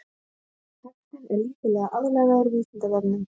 Textinn er lítillega aðlagaður Vísindavefnum.